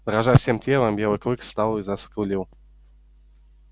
дрожа всем телом белый клык встал и заскулил